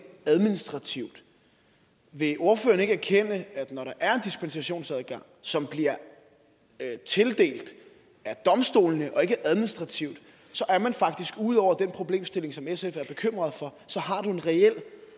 administrativt vil ordføreren ikke erkende at når der er en dispensationsadgang som bliver tildelt af domstolene og ikke administrativt så er man faktisk ude over den problemstilling som sf er bekymret for så har du en reel